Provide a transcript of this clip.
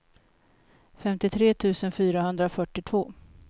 femtiotre tusen fyrahundrafyrtiotvå